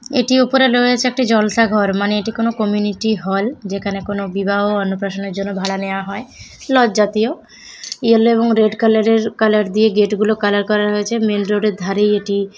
এটির উপরে রয়েছে একটি জলসাঘর মানে এটা কোন কমিউনিটি হল যেখানে কোন বিবাহ অন্নপ্রাশনের জন্য ভাড়া নেওয়া হয় লজ জাতীয়। ইয়েলো এবং রেড কালার এর কালার দিয়ে গেট গুলো কালার করা হয়েছে। মেইন রোড -এর ধারেই এটি।